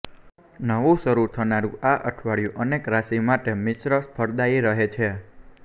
નવું શરૂ થનારું આ અઠવાડિયું અનેક રાશિ માટે મિશ્ર ફળદાયી રહે છે